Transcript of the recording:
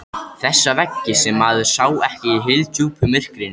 Þessa veggi sem maður sá ekki í hyldjúpu myrkrinu.